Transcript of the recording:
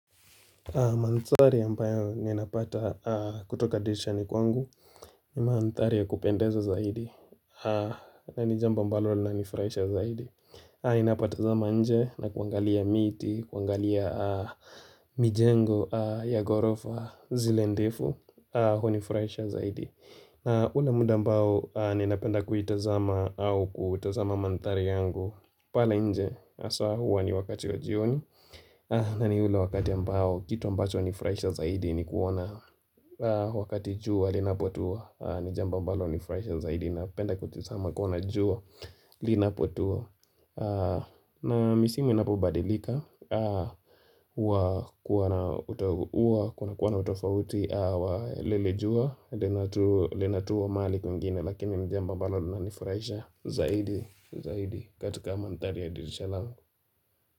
Manthari ambayo ni napata kutoka dilishani kwangu ni manthari ya kupendeza zaidi na nijamba mbalo na nifraisha zaidi inapata zama nje na kuangalia miti, kuangalia mijengo ya gorofa zile ndefu hunifraisha zaidi ule muda mbao ni napenda kuitazama au kuitazama mantari yangu pala nje asawa hua ni wakati wa jioni na ni ule wakati ambao, kitu ambacho nifraisha zaidi ni kuona wakati jua linapotua Nijamba mbalo nifraisha zaidi na penda kutisama kuona jua linapotua na misimu inapo badilika Kuna kuona utofauti lele jua lenatuwa mali kwingine Lakini nijamba mbalo lina nifraisha zaidi katika manthari ya dirishalangu.